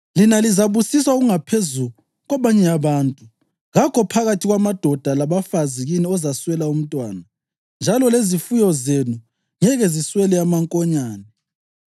Lina lizabusiswa okungaphezu kwabanye abantu; kakho phakathi kwamadoda labafazi kini ozaswela umntwana, njalo lezifuyo zenu ngeke ziswele amankonyane.